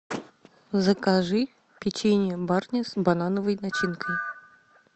закажи печенье барни с банановой начинкой